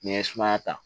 N'i ye suma ta